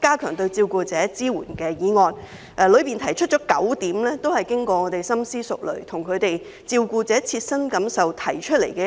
加強對照顧者的支援"議案，當中提出的9項建議都是經過我們深思熟慮，基於照顧者切身感受而提出的。